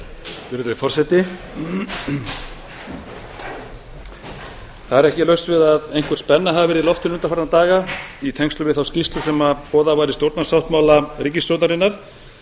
virðulegi forseti það er ekki laust við það að einhver spenna hafi verið í loftinu undanfarna daga í tengslum við þá skýrslu sem boðað var í stjórnarsáttmála ríkisstjórnarinnar